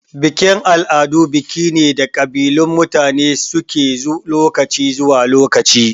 Bikin-al'adu biki ne da kabilun mutane suke lokaci zuwa lokaci.